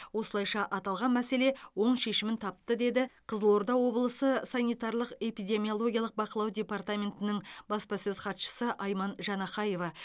осылайша аталған мәселе оң шешімін тапты деді қызылорда облысы санитарлық эпидемиологиялық бақылау департаментінің баспасөз хатшысы айман жанахаева